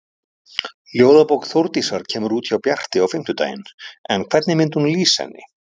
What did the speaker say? Ljóðabók Þórdísar kemur út hjá Bjarti á fimmtudaginn en hvernig myndi hún lýsa henni?